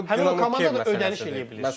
Həmin o komanda da ödəniş eləyə bilir.